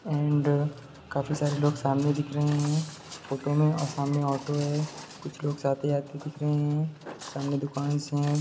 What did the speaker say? And काफी सारे लोग सामने दिख रहे हैं फ़ोटो में और सामने ऑटो है कुछ लोग स आते-जाते दिख रहे हैं। सामने दुकान्स हैं।